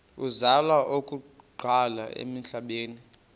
uzalwa okokuqala emhlabeni